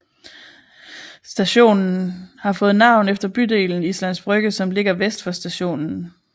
Stationen har fået navn efter bydelen Islands Brygge som ligger vest for stationen